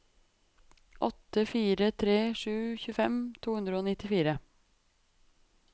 åtte fire tre sju tjuefem to hundre og nittifire